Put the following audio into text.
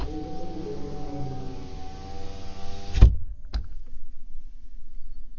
и это тоже было нормально